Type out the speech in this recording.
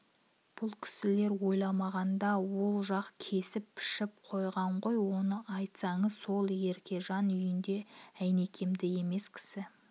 бұл кісілер ойламағанда ол жақ кесіп-пішіп қойған ғой оны айтсаңыз сол еркежан үйінде әйнекемдік емес кісі